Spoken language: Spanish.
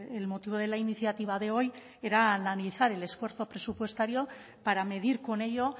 el motivo de la iniciativa de hoy era analizar el esfuerzo presupuestario para medir con ello